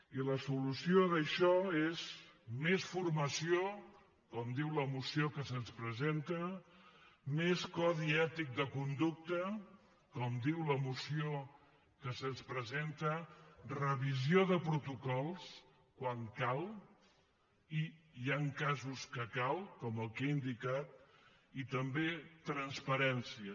i la solució d’això és més formació com diu la moció que se’ns presenta més codi ètic de conducta com diu la moció que se’ns presenta revisió de protocols quan cal i hi han casos que cal com el que he indicat i també transparència